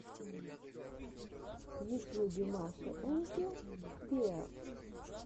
в ютьюбе маша энд зе беар